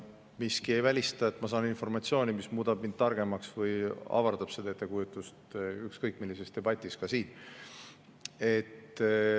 Miski ei välista, et ma saan informatsiooni, mis muudab mind targemaks või avardab seda ettekujutust ükskõik millises debatis, ka siin.